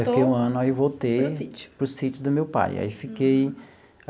Fiquei um ano e aí voltei. Para o sítio. Para o sítio do meu pai, aí fiquei.